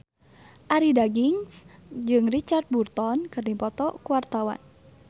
Arie Daginks jeung Richard Burton keur dipoto ku wartawan